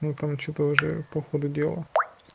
ну там что-то уже по ходу дела